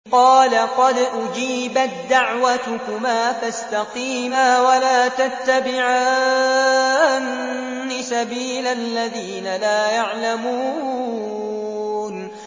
قَالَ قَدْ أُجِيبَت دَّعْوَتُكُمَا فَاسْتَقِيمَا وَلَا تَتَّبِعَانِّ سَبِيلَ الَّذِينَ لَا يَعْلَمُونَ